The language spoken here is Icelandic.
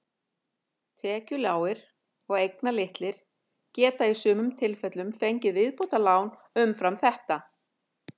Tekjulágir og eignalitlir geta í sumum tilfellum fengið viðbótarlán umfram þetta.